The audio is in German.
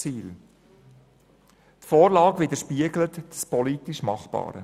Die Vorlage widerspiegelt das politisch Machbare.